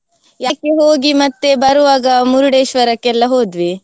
Yaana ಕ್ಕೆ ಹೋಗಿ ಮತ್ತೆ ಬರುವಾಗ Murdeshwar ಕ್ಕೆಲ್ಲ ಹೋದ್ವಿ.